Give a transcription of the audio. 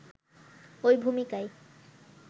ওই ভূমিকায়